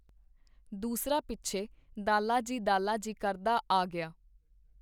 ਦੂਸਰਾ ਪਿੱਛੇ ਦਾਲ਼ਾ ਜੀ ਦਾਲ਼ਾ ਜੀ ਕਰਦਾ ਆ ਗਿਆ.